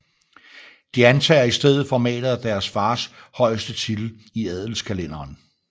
De antager i stedet formatet af deres fars højeste titel i adelskalenderen